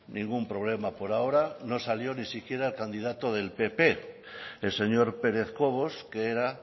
ningún problema por ahora no salió ni siquiera candidato del pp el señor pérez cobos que era